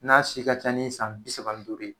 N'a si ka ca ni san bi saba ni duuru ye.